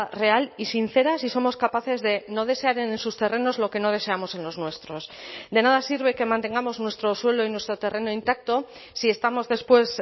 real y sincera si somos capaces de no desear en sus terrenos lo que no deseamos en los nuestros de nada sirve que mantengamos nuestro suelo y nuestro terreno intacto si estamos después